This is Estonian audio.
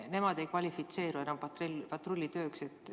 Nemad ei kvalifitseeru enam patrullitööks.